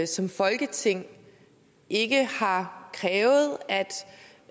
som folketing ikke har krævet